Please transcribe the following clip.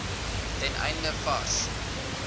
ten einde vars